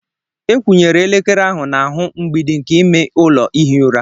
Ekwunyere elekere ahụ n'ahụ mgbidi nke ime ụlọ ihi ụra.